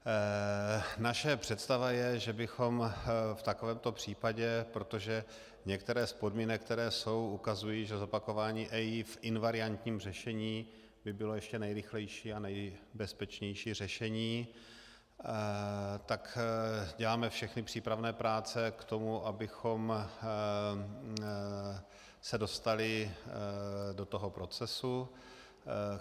Naše představa je, že bychom v takovémto případě, protože některé z podmínek, které jsou, ukazují, že zopakování EIA v invariantním řešení by bylo ještě nejrychlejší a nejbezpečnější řešení, tak děláme všechny přípravné práce k tomu, abychom se dostali do toho procesu.